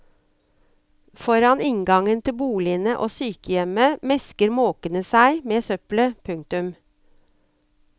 Foran inngangen til boligene og sykehjemmet mesker måkene seg med søppelet. punktum